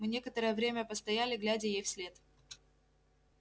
мы некоторое время постояли глядя ей вслед